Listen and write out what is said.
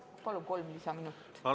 Palun kolm lisaminutit!